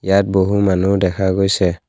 ইয়াত বহু মানুহ দেখা গৈছে।